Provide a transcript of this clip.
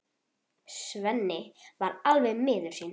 Svenni er alveg miður sín.